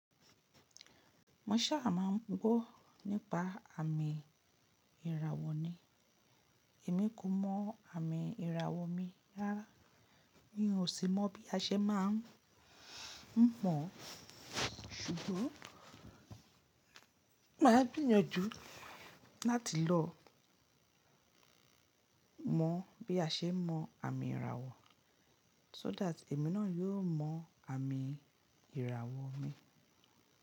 Mo ṣa ma ń gbọ́ nípa àmì ìràwọ̀ ni. Èmi ko mọ àmì ìràwọ̀ mi rára, ni ó sì mọ bí a ṣe máa ń mọ̀n. Sùgbọ́n màá gbìnyọ̀njú láti lọ mọ bí a ṣe mọ àmì ìràwọ̀, so that èmi náà yóò mọ àmì ìràwọ̀ mi.